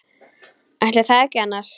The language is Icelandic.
Ætli það ekki annars.